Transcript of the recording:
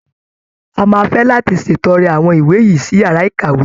A máa fé láti ṣètọrẹ àwọn ìwé sí yàrá ìkàwé.